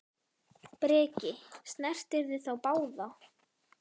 Breki: Snertirðu þá báða?